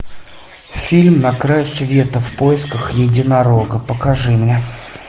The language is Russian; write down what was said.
фильм на край света в поисках единорога покажи мне